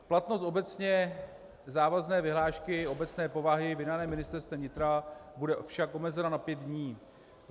Platnost obecně závazné vyhlášky obecné povahy vydané Ministerstvem vnitra bude však omezena na pět dní.